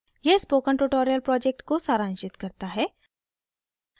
यह spoken tutorial project को सारांशित करता है